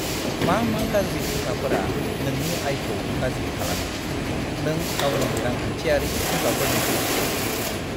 मा मा गाज्रि फुंखाफोरा नोंनि आयखौ गाज्रि खालामो? नों गावनि रांखान्थियारि फुंखाफोरनि गुदिखौ दिन्थिफुं!